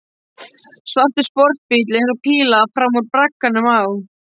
Svartur sportbíll eins og píla fram úr bragganum á